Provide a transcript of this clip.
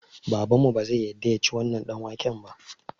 Babanmu bazai yadda yaci wannan ɗanwaken ba